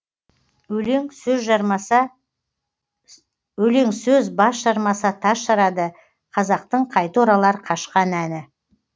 өлең сөз бас жармаса тас жарады қазақтың қайта оралар қашқан әні